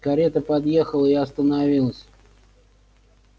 карета подъехала и остановилась